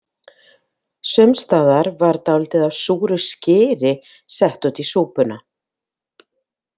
Sumstaðar var dálítið af súru skyri sett út í súpuna.